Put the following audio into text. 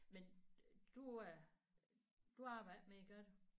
Men du er du arbejder ikke mere gør du